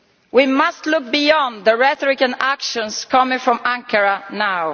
We must look beyond the rhetoric and actions coming from Ankara now.